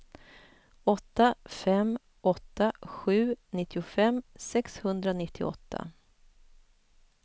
åtta fem åtta sju nittiofem sexhundranittioåtta